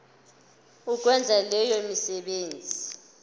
ukwenza leyo misebenzi